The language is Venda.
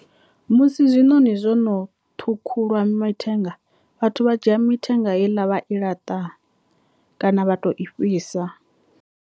Musi zwinoni zwono ṱhukhulwa mitengo vhathu vha dzhia mithenga heiḽa vha i laṱa kana vha tou i fhisa.